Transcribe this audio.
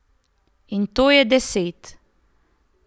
In to je deset.